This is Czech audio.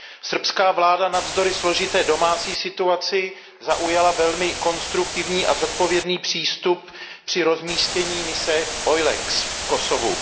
Srbská vláda navzdory složité domácí situaci zaujala velmi konstruktivní a zodpovědný přístup při rozmístění mise EULEX v Kosovu.